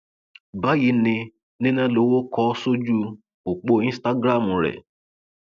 báyìí ni nína lowó kó o ṣojú ọpọ instagram rẹ